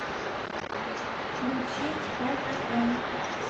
включить квн